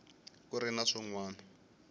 ku ri na swin wana